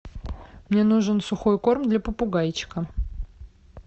мне нужен сухой корм для попугайчика